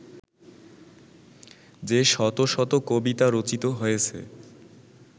যে-শত শত কবিতা রচিত হয়েছে